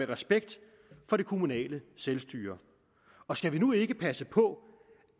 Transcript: respekt for det kommunale selvstyre og skal vi nu ikke passe på